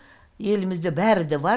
елімізде бәрі де бар